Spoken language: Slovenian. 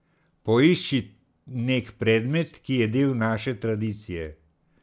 Poišči nek predmet, ki je del naše tradicije.